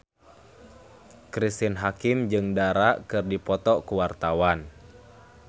Cristine Hakim jeung Dara keur dipoto ku wartawan